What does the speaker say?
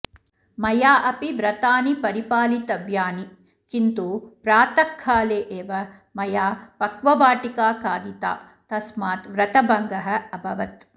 मया अपि व्रतानि परिपालितव्यानि किन्तु प्रातःकाले एव मया पक्ववाटिका खादिता तस्मात् व्रतभङ्गः अभवत्